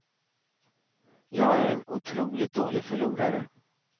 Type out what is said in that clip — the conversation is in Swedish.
Jag är en otroligt dålig förlorare.